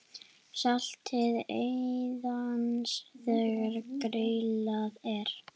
Saltið aðeins þegar grillað er.